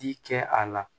Di kɛ a la